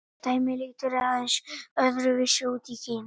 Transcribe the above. dæmið lítur aðeins öðru vísi út í kína